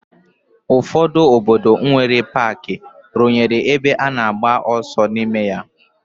Ụfọdụ obodo nwere paaki rụnyere ebe a na-agba ọsọ n'ime ya.